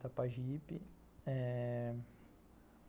Itapajipe. É...